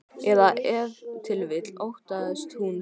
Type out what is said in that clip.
Eða ef til vill óttaðist hún svörin.